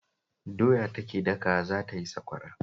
Doya take dakawa za ta yi sakwara